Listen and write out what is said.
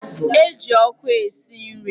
E ji ọkụ esi nri.